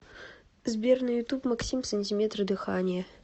сбер на ютуб максим сантиметры дыханья